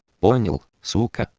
понял сука